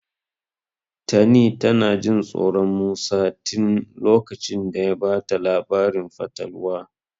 Tani tana Jin tsoron Musa tin lokacin da ya bata labarin fatalwa.